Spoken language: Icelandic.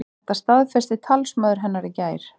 Þetta staðfesti talsmaður hennar í gær